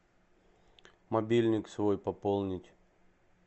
мобильник свой пополнить